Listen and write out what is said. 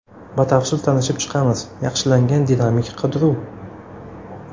Batafsil tanishib chiqamiz: – Yaxshilangan dinamik qidiruv.